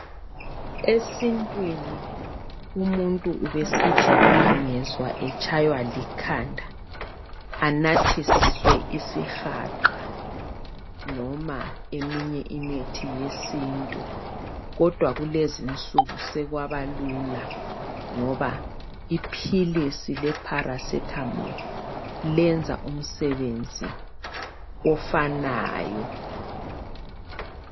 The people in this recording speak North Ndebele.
Esintwini umuntu ubesithi angezwa etshaywa likhanda anathiswe isihaqa noma eminye imithi yesintu. Kodwa kulezinsuku sekwabalula ngoba iphilisi leparacetamol lenza umsebenzi ofanayo.